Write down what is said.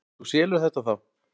Þú selur þetta þá?